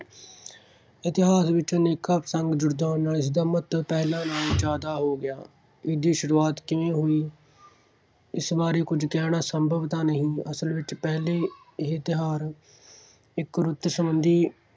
ਇਤਿਹਾਸ ਵਿਚ ਅਨੇਕਾਂ ਪ੍ਰਸੰਗ ਜੁੜ ਜਾਣ ਨਾਲ ਇਸ ਦਾ ਮਹੱਤਵ ਪਹਿਲੇ ਨਾਲੋਂ ਜ਼ਿਆਦਾ ਹੋ ਗਿਆ ਹੈ। ਇਸ ਦੀ ਸ਼ੁਰੂਆਤ ਕਿਵੇਂ ਹੋਈ, ਇਸ ਬਾਰੇ ਕੁੱਝ ਕਹਿਣਾ ਸੰਭਵ ਤਾਂ ਨਹੀਂ। ਅਸਲ ਵਿਚ ਪਹਿਲੇ ਇਹ ਤਿਉਹਾਰ ਇਕ ਰੁੱਤ ਸੰਬੰਧੀ